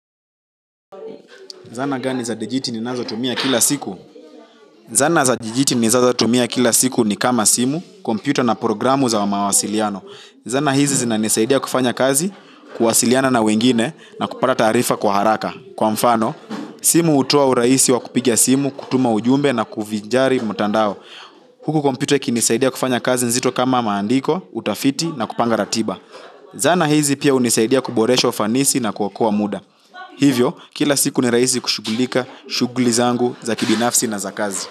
Zana gani za dijiti ni nazo tumia kila siku? Zana za dijiti ni nazo tumia kila siku ni kama simu, kompyuta na programu za mawasiliano. Zana hizi zinanisaidia kufanya kazi kuwasiliana na wengine na kupata taarifa kwa haraka kwa mfano, simu hutoa urahisi wa kupiga simu, kutuma ujumbe na kuvinjari mtandao. Huku kompyuta iki ninisaidia kufanya kazi nzito kama maandiko, utafiti na kupanga ratiba. Zana hizi pia hunisaidia kuboresha ufanisi na kuokoa muda. Hivyo, kila siku ni rahisi kushugulika shugli zangu za kibinafsi na za kazi.